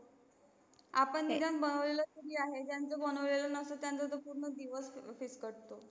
आपण निदान बनवलेलं तरी आहे ज्यांच बनवलेले नसते ना? त्यांचं तर पूर्ण दिवस Fix कठो.